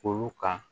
Olu ka